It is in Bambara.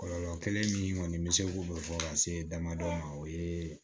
Kɔlɔlɔ kelen min kɔni bɛ se k'o bɛɛ fɔ ka se damadɔ ma o ye